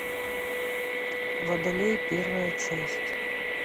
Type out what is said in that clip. водолей первая часть